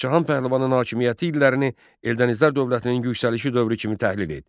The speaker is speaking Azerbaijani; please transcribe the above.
Məhəmməd Cahan Pəhləvanın hakimiyyəti illərini Eldənizlər dövlətinin yüksəlişi dövrü kimi təhlil et.